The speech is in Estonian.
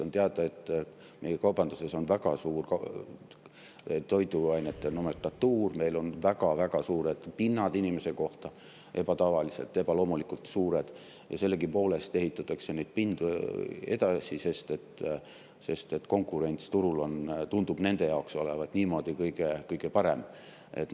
On teada, et meie kaubanduses on väga toiduainete nomenklatuur, meil on väga-väga suured pinnad inimese kohta – ebatavaliselt, ebaloomulikult suured –, ja sellegipoolest ehitatakse neid pindu juurde, sest konkurents turul tundub nende jaoks niimoodi kõige parem olevat.